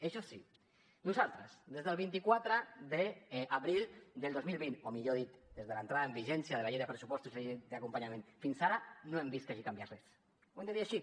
això sí nosaltres des del vint quatre d’abril del dos mil vint o millor dit des de l’entrada en vigència de la llei de pressupostos i la llei d’acompanyament fins ara no hem vist que hagi canviat res ho hem de dir així